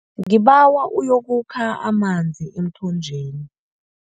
Ngibawa uyokukha amanzi emthonjeni.